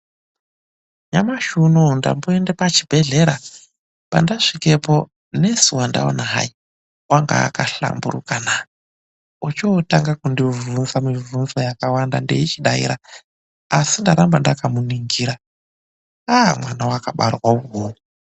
Nyamashi unouyu ndamboenda pachibhedhlera. Pandasvikepo mukoti wandaona hai anga akahlamburukana, ochotanga kundibvunza mibvunzo yakawanda ndeichidaira asi ndaramba ndakamuningira a-a mwana wakabarwa iwowo.